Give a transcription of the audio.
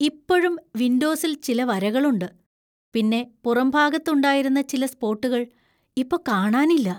ഇപ്പഴും വിൻഡോസിൽ ചില വരകളുണ്ട് ,പിന്നെ പുറംഭാഗത്ത് ഉണ്ടായിരുന്ന ചില സ്പോട്ടുകൾ ഇപ്പൊ കാണാനില്ല.